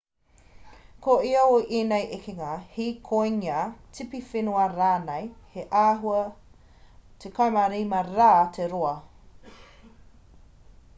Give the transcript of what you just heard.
ko ia o ēnei ekenga hīkoinga tipiwhenua rānei he āhua 17 rā te roa